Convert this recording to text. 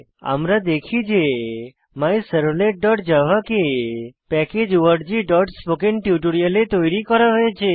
আমরা দেখি যে myservletজাভা কে প্যাকেজ orgস্পোকেন্টিউটোরিয়াল এ তৈরি করা হয়েছে